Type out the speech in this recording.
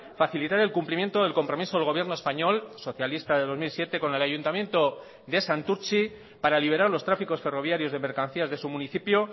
facilitar el cumplimiento del compromiso del gobierno español socialista del dos mil siete con el ayuntamiento de santurtzi para liberar los tráficos ferroviarios de mercancías de su municipio